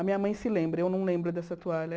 A minha mãe se lembra, eu não lembro dessa toalha.